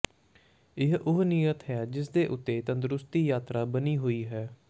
ਇਹ ਉਹ ਨੀਹਤ ਹੈ ਜਿਸ ਉੱਤੇ ਇਕ ਤੰਦਰੁਸਤੀ ਯਾਤਰਾ ਬਣੀ ਹੋਈ ਹੈ